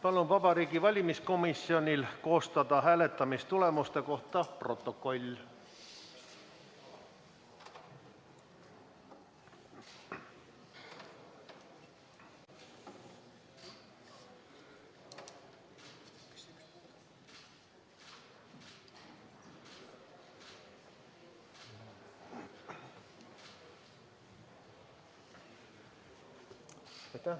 Palun Vabariigi Valimiskomisjonil koostada hääletamistulemuste kohta protokoll.